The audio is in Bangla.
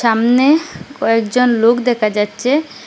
সামনে কয়েকজন লোক দেখা যাচ্ছে।